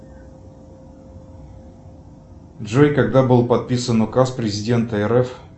джой когда был подписан указ президента рф